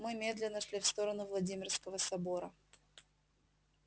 мы медленно шли в сторону владимирского собора